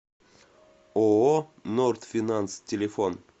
ооо норд финанс телефон